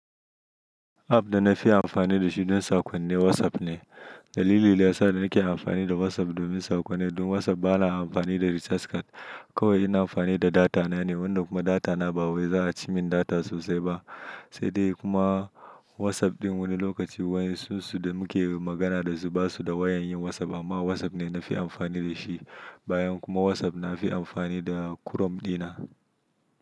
App da na fi amfani da shi don sakonni WhatsApp ne. Dalilin daya sa da nake amfani da WhatsApp domin sakonni don WhatsApp ba na amfani da recharge card kawai ina amfani da data na ne wanda kuma data na ba wai za a ci min data sosai ba. Sai dai kuma WhatsApp ɗin wani lokaci wayar su da muke magana da su ba su da wayan yin WhatsApp amma WhatsApp ne na fi amfani da shi. Bayan kuma WhatsApp na fi amfani da Chrome ɗina.